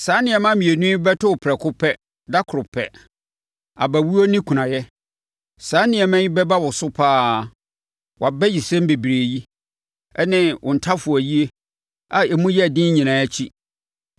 Saa nneɛma mmienu yi bɛto wo prɛko pɛ, dakoro pɛ: abawuo ne kunayɛ. Saa nneɛma yi bɛba wo so pa ara, wʼabayisɛm bebrebe yi ne ntafowayie a emu yɛ den nyinaa akyi.